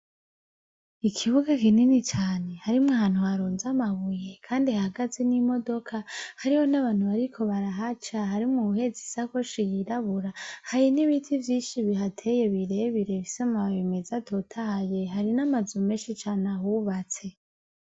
Ikibuga kinini cane harimwo ahantu harunze amabuye kandi hahagaze n'imodoka, hariho n'abantu bariko barahaca harimwo uwuhetse isakoshi yirabura hari n'ibiti vyinshi bihateye birebire bifise amababi meza atotahaye, hari n'amazu menshi cane ahubatse